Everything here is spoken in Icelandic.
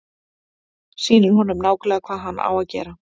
Sýnir honum nákvæmlega hvað hann á að gera.